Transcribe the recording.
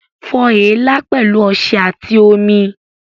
Fọ èélá pẹ̀lú ọṣẹ àti omi